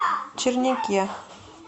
черняке